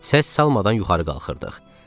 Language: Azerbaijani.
Səs salmadan yuxarı qalxırdıq.